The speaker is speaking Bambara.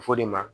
Fɔ de ma